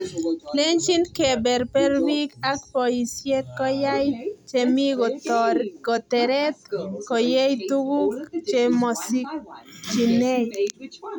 Lenjin keberber biik ab boisie koyay che mii koteret koyey tukuk che mosikchinei.